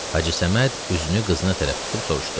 Hacı Səməd üzünü qızına tərəf tutub soruşdu.